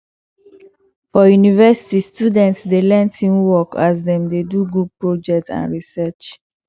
for university students dey learn teamwork as dem dey do group project and research